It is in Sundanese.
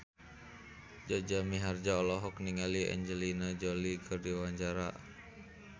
Jaja Mihardja olohok ningali Angelina Jolie keur diwawancara